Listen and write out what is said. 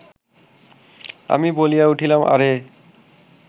আমি বলিয়া উঠিলাম, আরে